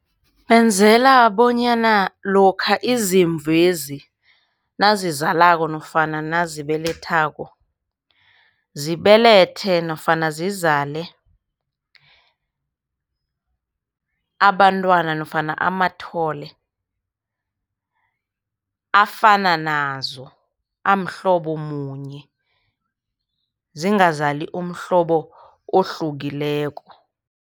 Benzela bonyana lokha izimvu lezi nazizalako nofana nazibelethako, zibelethe nofana zizale abantwana nofana amathole afana nazo, amhlobo munye. Zingazali umhlobo ohlukileko.